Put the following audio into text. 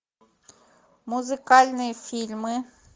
музыкальные фильмы